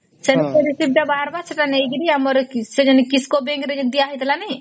ସେନୁକରି ସିଧା ବାହାରିବା ସେଟା ନେଇକରି ଆମର ସେଟା ଯେମିତି kisco bank ରେ ଦିଆ ହେଇଥିଲା ନାଇଁ